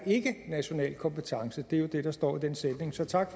national kompetence det er jo det der står i den sætning så tak